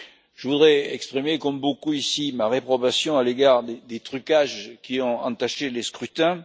Je voudrais exprimer, comme beaucoup ici, ma réprobation à l'égard des trucages qui ont entaché les scrutins.